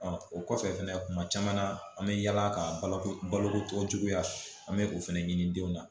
o kɔfɛ fɛnɛ tuma caman na an bɛ yaala ka balo baloko juguya an bɛ o fana ɲini denw na